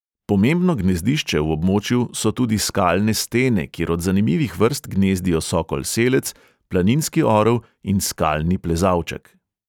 Pomembno gnezdišče v območju so tudi skalne stene, kjer od zanimivih vrst gnezdijo sokol selec, planinski orel in skalni plezalček.